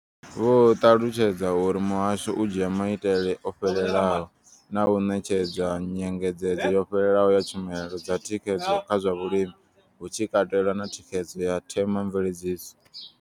Vho ṱalutshedza uri muhasho u dzhia maitele o fhelelaho na u ṋetshedza nyengedzedzo yo fhelelaho ya tshumelo dza thikhedzo kha zwa vhulimi, hu tshi katelwa na thikhedzo ya themamveledziso.